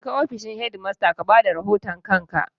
Jeka ofishin shedimasta ka ba da rahoton kanka!